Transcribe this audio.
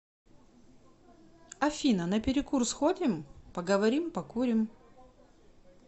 афина на перекур сходим поговорим покурим